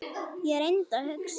Ég reyndi að hugsa.